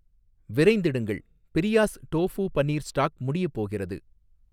விரைந்திடுங்கள், பிரியாஸ் tofu paneer stock முடியப் போகிறது